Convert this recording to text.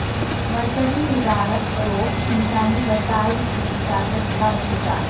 مرکزی وزارت فروغ انسانی وسائل کی اجازت کا انتظار